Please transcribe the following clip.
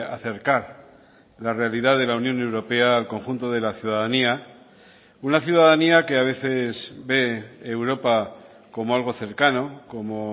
acercar la realidad de la unión europea al conjunto de la ciudadanía una ciudadanía que a veces ve europa como algo cercano como